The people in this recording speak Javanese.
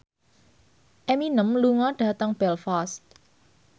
Eminem lunga dhateng Belfast